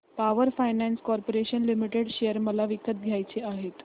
power finance corporation limited share मला विकत घ्यायचे आहेत